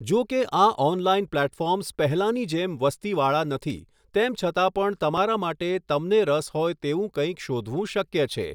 જો કે આ ઓનલાઇન પ્લેટફોર્મ્સ પહેલાંની જેમ વસ્તીવાળા નથી, તેમ છતાં પણ તમારા માટે તમને રસ હોય તેવું કંઈક શોધવું શક્ય છે.